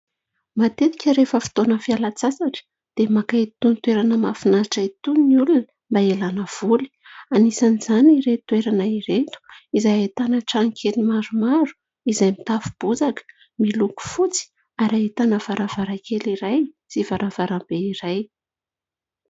Matetika rehefa fotoana fialan-tsasatra dia maka itony toerana mahafinaritra itony ny olona mba hialana voly. Anisan'izany ireto toerana ireto, izay ahitana trano kely maromaro, izay mitafo bozaka, miloko fotsy, ary ahitana varavarankely iray sy varavarambe iray.